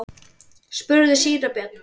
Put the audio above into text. spurði síra Björn.